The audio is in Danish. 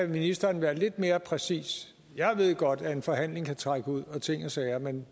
ministeren være lidt mere præcis jeg ved godt at en forhandling kan trække ud og ting og sager men